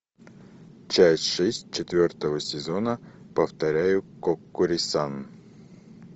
часть шесть четвертого сезона повторяю коккури сан